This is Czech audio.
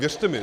Věřte mi.